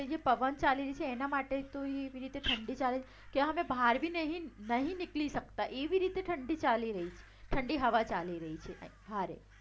તો જે પવન ચાલી રહી છે એના માટે તો એવી રીતે ઠંડી ચાલે છે કે અમે બહાર પણ નહિ નીકળી શકતા એવી રીતે ઠંડી હવા ચાલી રહી છે